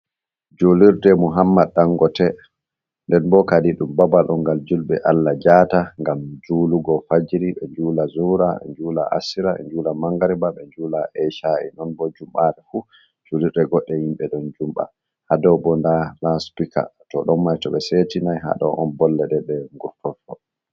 Julirɗe muhammad ɗangote. Nɗen bo kaɗi ɗum babal on gal julbe Allah jata ngam julugo fajiri, be njula zura, be njula asira, be njula mangariba, be njula eshai, non bo jumbare fu. Julirɗe goɗɗe yimbe ɗon jumba. Ha ɗobo nɗa laspika. To ɗon mai to be setinai ha ɗon on bolleɗeɗe ngurtoto.